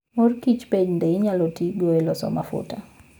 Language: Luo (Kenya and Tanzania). Mor Kicho bende inyalo ti godo e loso mafuta.